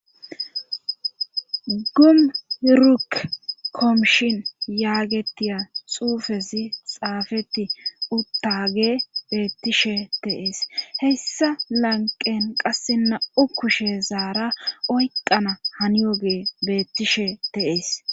gum yuruk koomshin yaagetiya xuufezi xaafeti uttage beettishe de'ees heyssa lanqen qasse na7u kushe zaara oyqqana haniyoge beettishe de'ees